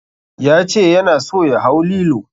Ya ce yana so ya hau lilo.